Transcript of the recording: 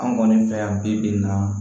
An kɔni fɛ yan bi bi in na